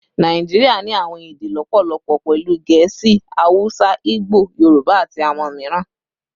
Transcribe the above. Naijiria ni awọn ede lọpọlọpọ, pẹlu Gẹẹsi, Hausa, Igbo, Yoruba, ati awọn miiran